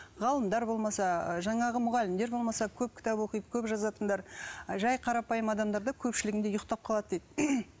ғалымдар болмаса жаңағы мұғалімдер болмаса көп кітап оқиды көп жазатындар ы жай қарапайым адамдар да көпшілігінде ұйықтап қалады дейді